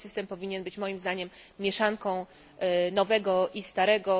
Nowy system powinien być moim zdaniem mieszanką nowego i starego.